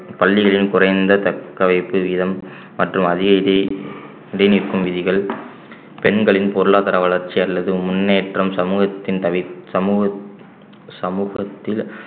பள்ளிகளில் குறைந்த தடக்கவைப்பு வீதம் மற்றும் IIT இடை நிற்கும் விதிகள் பெண்களின் பொருளாதார வளர்ச்சி அல்லது முன்னேற்றம் சமூகத்தின் த~ சமூக~ சமூகத்தில்